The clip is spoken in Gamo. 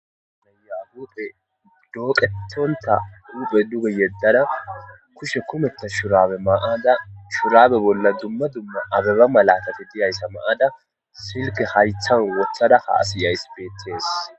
nayahuphe dooqetonta uphe duge yeddada kushe kumetta shurabe maada shuraabe bolla dumma dumma abeba malatati diyayssa maada silke harithan wothada haasi ays beetees